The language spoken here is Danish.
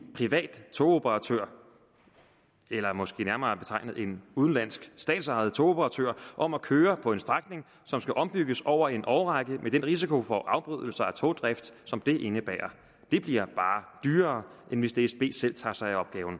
privat togoperatør eller måske nærmere betegnet en udenlandsk statsejet togoperatør om at køre på en strækning som skal ombygges over en årrække med den risiko for afbrydelser af togdrift som det indebærer det bliver bare dyrere end hvis dsbs selv tager sig